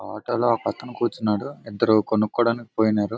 ఆటోలో ఒకతను కూర్చున్నాడు ఇద్దరూ కొనుక్కోవడానికి పోయినారు.